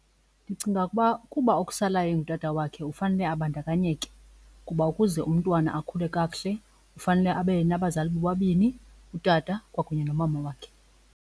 Ndicinga ukuba ukuba okusalayo engutata wakhe ufanele abandakanyeke kuba ukuze umntwana akhule kakuhle ufanele abe nabazali bobabini, utata kwakunye nomama wakhe.